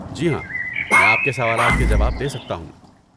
جی ہاں، میں آپ کے سوالات کے جواب دے سکتا ہوں۔